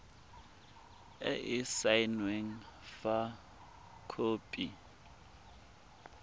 e e saenweng fa khopi